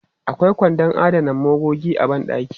Akwai kwandon adana magogi a ban ɗaki.